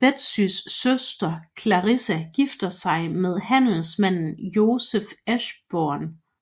Betsys søster Clarissa gifter sig med handelsmanden Joseph Ashburn